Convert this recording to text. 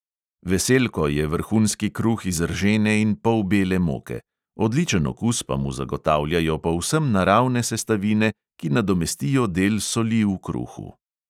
Veselko je vrhunski kruh iz ržene in polbele moke, odličen okus pa mu zagotavljajo povsem naravne sestavine, ki nadomestijo del soli v kruhu.